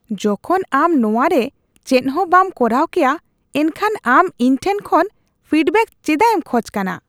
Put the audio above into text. ᱡᱚᱠᱷᱚᱱ ᱟᱢ ᱱᱚᱶᱟ ᱨᱮ ᱪᱮᱫ ᱦᱚᱸ ᱵᱟᱢ ᱠᱚᱨᱟᱣ ᱠᱮᱭᱟ ᱮᱱᱠᱷᱟᱱ ᱟᱢ ᱤᱧ ᱴᱷᱮᱱ ᱠᱷᱚᱱ ᱯᱷᱤᱰᱵᱮᱜ ᱪᱮᱫᱟᱜ ᱮᱢ ᱠᱷᱚᱡ ᱠᱟᱱᱟ ᱾ (ᱜᱟᱦᱟᱠ)